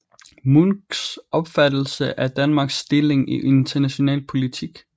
Munchs opfattelse af Danmarks stilling i international politik